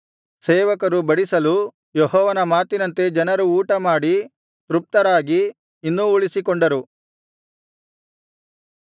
ಸೇವಕರು ಬಡಿಸಲು ಯೆಹೋವನ ಮಾತಿನಂತೆ ಜನರು ಊಟಮಾಡಿ ತೃಪ್ತರಾಗಿ ಇನ್ನೂ ಉಳಿಸಿಕೊಂಡರು